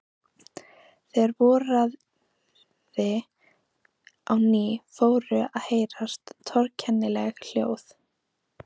Þegar voraði á ný fóru að heyrast torkennileg hljóð.